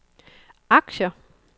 aktier